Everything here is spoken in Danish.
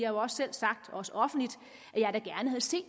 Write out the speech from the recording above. også selv sagt også offentligt at jeg da gerne havde set